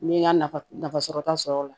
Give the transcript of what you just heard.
N'i ye n ka nafa nafa sɔrɔta sɔrɔ o la